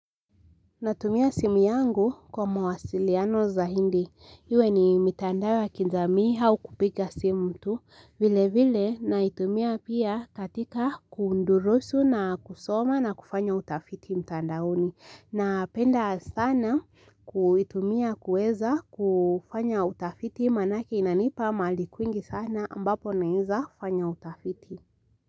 Natumia simu yangu kwa mawasiliano zaidi, iwe ni mitandao au kupiga simu tu, vile vile naitumia pia katika kudurusu na kusoma na kufanya utafiti mtandaoni. Napenda sana kuitumia kuweza kufanya utafiti maanake inanipa mali kwingi sana ambapo naeza fanya utafiti.